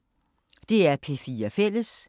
DR P4 Fælles